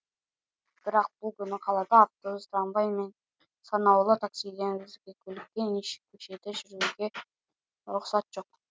бірақ бұл күні қалада автобус трамвай мен санаулы таксиден өзге көлікке неше көшеде жүруге рұқсат жоқ